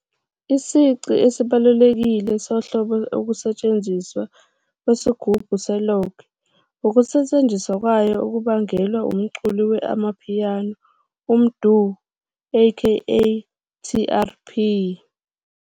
Isici esibalulekile sohlobo ukusetshenziswa "kwesigubhu se-log", ukusetshenziswa kwayo okubangelwa umculi we-amapiano MDU a.k.a TRP.